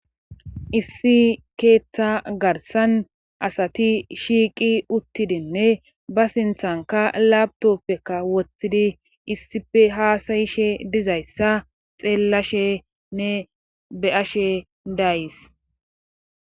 issi keeththa garsan asati shiiqi uttidinne ba sinthanka labtoppekka wothtidi issife haasayishe dizayssa xeellashenne be7ashe dayys